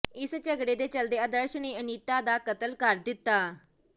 ਇਸੇ ਝਗੜੇ ਦੇ ਚੱਲਦੇ ਅਦਰਸ਼ ਨੇ ਅਨੀਤਾ ਦਾ ਕਤਲ ਕਰ ਦਿੱਤਾ